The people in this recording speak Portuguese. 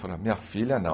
Falou, minha filha, não.